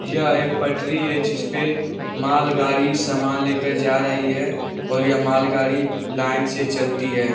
यह एक पटरी है जिसपे मालगाड़ी सामान ले कर जा रही है और यह मालगाड़ी लाइन से चलती है।